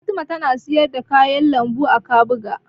Fatima tana siyar da kayan lambu a Kabuga.